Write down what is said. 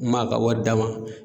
N m'a ka wari d'a ma